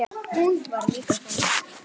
Hún var líka þannig.